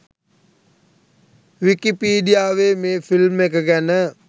විකීපිඩියාවේ මේ ‍ෆිල්ම් එක ගැන